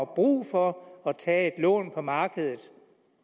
brug for at tage et lån på markedet